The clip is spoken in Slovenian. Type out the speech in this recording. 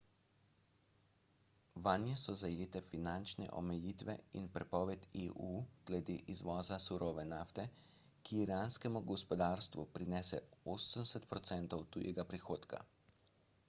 vanje so zajete finančne omejitve in prepoved eu glede izvoza surove nafte ki iranskemu gospodarstvu prinese 80 % tujega prihodka